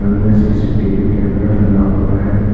यहां CCTV camera लगा हुआ है।